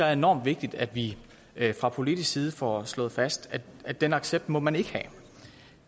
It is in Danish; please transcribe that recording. er enormt vigtigt at vi fra politisk side får slået fast at den accept må man ikke have